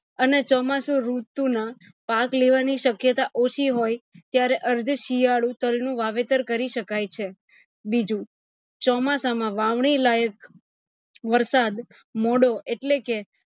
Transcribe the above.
અને ચોમાસું ઋતુ ના પાક લેવાની શક્યતા ઓછી હોય ત્યારે અર્થ શિયાળુ તાલ નું વાવેતર કરી શકાય છે બીજું ચોમાસા માં વાવણી લાયક વરસાદ મોડો એટલે કે